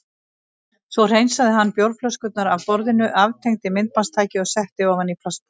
Svo hreinsaði hann bjórflöskurnar af stofuborðinu, aftengdi myndbandstækið og setti ofan í plastpoka.